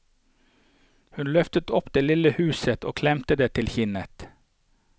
Hun løftet opp det lille huset og klemte det til kinnet.